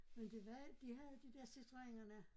Men det var de havde de dér citröenerne